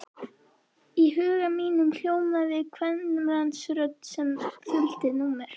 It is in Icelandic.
Í huga mínum hljómaði kvenmannsrödd sem þuldi númer.